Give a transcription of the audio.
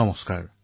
নমস্কাৰ